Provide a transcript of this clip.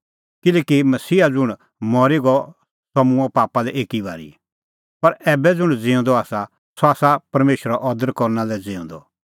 किल्हैकि मसीहा ज़ुंण मरी गअ सह मूंअ पापा लै एकी ई बारी पर ऐबै ज़ुंण ज़िऊंदअ आसा सह आसा परमेशरो अदर करना लै ज़िऊंदअ